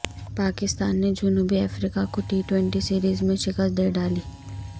پاکستان نے جنوبی افریقہ کو ٹی ٹوئنٹی سیریز میں شکست دے ڈالی